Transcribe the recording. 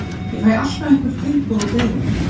Ég fæ alltaf einhver tilboð og beiðnir.